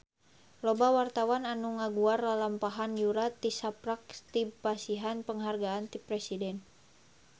Loba wartawan anu ngaguar lalampahan Yura tisaprak dipasihan panghargaan ti Presiden